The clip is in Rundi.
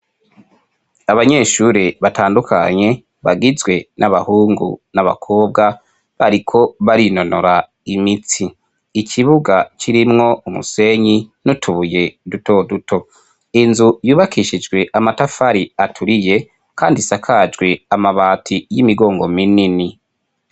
Abanyeshure batandukanye, bagizwe n'abahungu n'abakobwa, bariko barinonora imitsi. Ikibuga kirimwo umusenyi n'utubuye dutoduto, inzu yubakishijwe amatafari aturiye kandi isakajwe amabati y'imigongo minini.